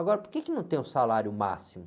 Agora, por que não tem o salário máximo?